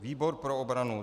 Výbor pro obranu